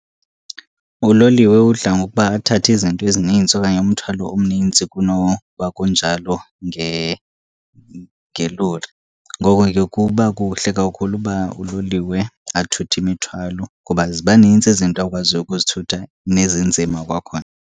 Uloliwe udla ngokuba athathe izinto ezininzi okanye umthwalo omninzi kunoba kunjalo ngelori. Ngoko ke kuba kuhle kakhulu ukuba uloliwe athuthe imithwalo kuba ziba nintsi izinto akwaziyo ukuzithutha nezinzima kwakhona.